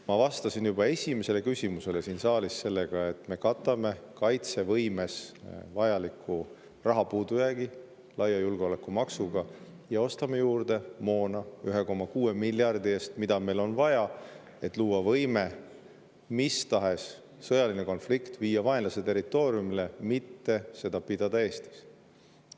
Ma vastasin juba esimesele küsimusele siin saalis nii, et me katame kaitsevõime jaoks puudujääva raha laia julgeolekumaksuga ja ostame 1,6 miljardi eest juurde moona, mida meil on vaja, et luua võime viia mis tahes sõjaline konflikt vaenlase territooriumile, mitte pidada seda Eestis.